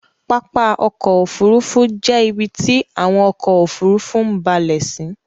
Pápá ọkọ̀ òfurufú jẹ ibiti awọn ọkọ̀ òfurufú ń bálẹ̀ sí